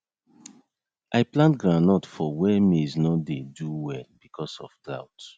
i plant groundnut for where maize nor do well because of drought